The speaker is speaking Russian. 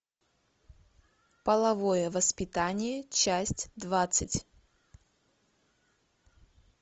половое воспитание часть двадцать